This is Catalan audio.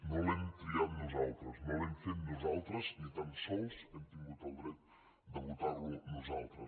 no l’hem triat nosaltres no l’hem fet nosaltres ni tan sols hem tingut el dret de votar lo nosaltres